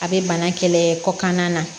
A bɛ bana kɛlɛ kɔ kan na